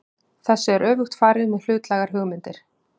Þessu er öfugt farið með hlutlægar hugmyndir.